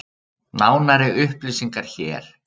Nánari upplýsingar hér